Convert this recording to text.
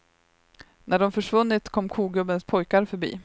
När de försvunnit kom kogubbens pojkar förbi.